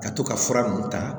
Ka to ka fura nunnu ta